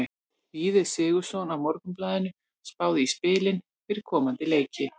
Víðir Sigurðsson á Morgunblaðinu spáði í spilin fyrir komandi leiki.